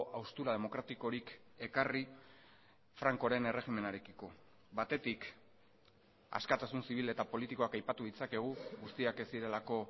haustura demokratikorik ekarri francoren erregimenarekiko batetik askatasun zibil eta politikoak aipatu ditzakegu guztiak ez zirelako